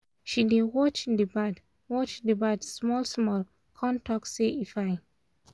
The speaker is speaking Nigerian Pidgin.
she dey watch d bird watch d bird small small con talk say e fine